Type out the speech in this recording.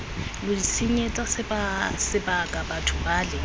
lo itshenyetsa sebaka batho bale